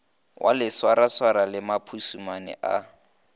wa legwaragwara le maphusumane a